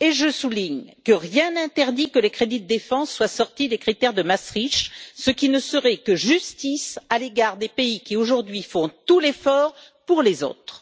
et je souligne que rien n'interdit que les crédits de défense soient sortis des critères de Maastricht, ce qui ne serait que justice à l'égard des pays qui, aujourd'hui, font tout l'effort pour les autres.